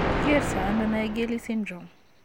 Kikerto ano Naegeli syndrome?